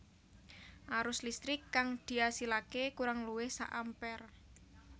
Arus listrik kang diasilaké kurang luwih sak ampere